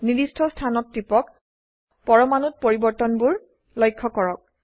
নিৰ্দিষ্ট স্থানত টিপক পৰমাণুত পৰিবৰ্তনবোৰ লক্ষ্য কৰক